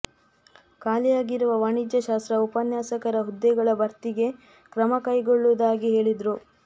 ಖಾಲಿಯಾಗಿರುವ ವಾಣಿಜ್ಯ ಶಾಸ್ತ್ರ ಉಪನ್ಯಾಸಕರ ಹುದ್ದೆಗಳ ಭರ್ತಿಗೆ ಕ್ರಮ ಕೈಗೊಳ್ಳುವುದಾಗಿ ಹೇಳಿದರು